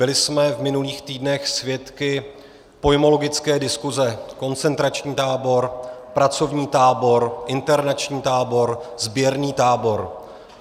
Byli jsme v minulých týdnech svědky pojmologické diskuze - koncentrační tábor, pracovní tábor, internační tábor, sběrný tábor.